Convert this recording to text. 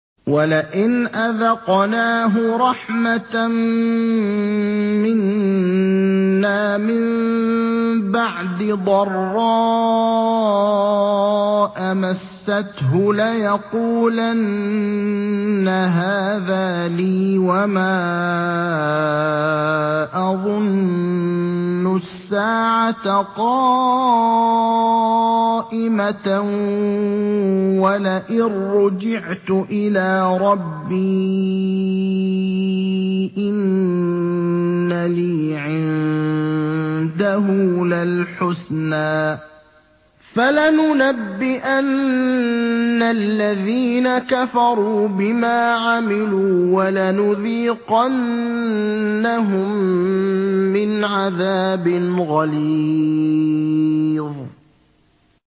وَلَئِنْ أَذَقْنَاهُ رَحْمَةً مِّنَّا مِن بَعْدِ ضَرَّاءَ مَسَّتْهُ لَيَقُولَنَّ هَٰذَا لِي وَمَا أَظُنُّ السَّاعَةَ قَائِمَةً وَلَئِن رُّجِعْتُ إِلَىٰ رَبِّي إِنَّ لِي عِندَهُ لَلْحُسْنَىٰ ۚ فَلَنُنَبِّئَنَّ الَّذِينَ كَفَرُوا بِمَا عَمِلُوا وَلَنُذِيقَنَّهُم مِّنْ عَذَابٍ غَلِيظٍ